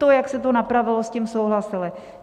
To, jak se to napravilo, s tím souhlasili.